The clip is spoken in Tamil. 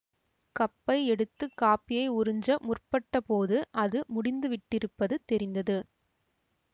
கப்பை எடுத்து காப்பியை உறிஞ்ச முற்பட்ட போது அது முடிந்துவிட்டிருப்பது தெரிந்தது